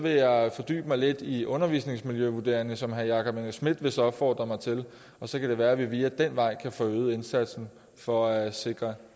jeg fordybe mig lidt i undervisningsmiljøvurderinger som herre jakob engel schmidt vist opfordrede mig til og så kan det være at vi ad den vej kan få øget indsatsen for at sikre